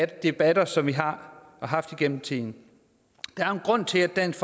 debatter som vi har haft igennem tiden der er en grund til at dansk